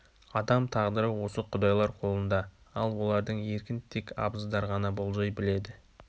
адам тағдыры осы құдайлар қолында ал олардың еркін тек абыздар ғана болжай біледі